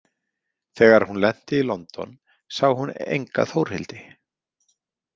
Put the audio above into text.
Þegar hún lenti í London sá hún enga Þórhildi.